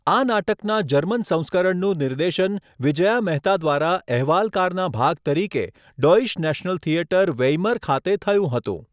આ નાટકના જર્મન સંસ્કરણનું નિર્દેશન વિજયા મહેતા દ્વારા અહેવાલકારના ભાગ તરીકે ડોઇશ નેશનલ થિયેટર, વેઇમર ખાતે થયું હતું.